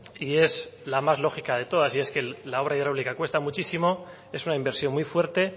y es la más lógica de todas y es que la obra hidráulica cuesta muchísimo es una inversión muy fuerte